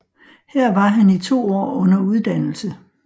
Her var han i to år under uddannelse